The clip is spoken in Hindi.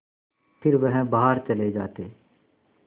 फिर वह बाहर चले जाते